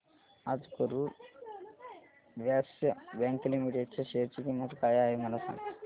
आज Karur Vysya bank limited च्या share ची किंमत काय आहे मला सांगा